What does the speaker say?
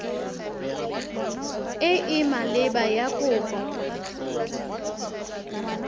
e e maleba ya kopo